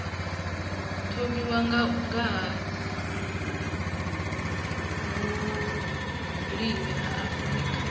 thomiwa nga ha vhulimi afrika